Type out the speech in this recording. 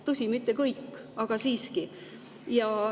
Tõsi, mitte kõik, aga siiski.